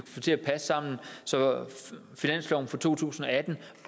få til at passe sammen så finansloven for to tusind og atten